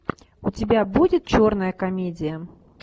у тебя будет черная комедия